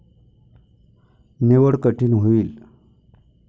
निवड कठीण होईल.